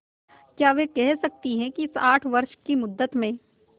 क्या वे कह सकती हैं कि इस आठ वर्ष की मुद्दत में